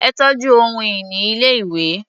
Ẹ tọ́jú ohun-ìní ilé-ìwé.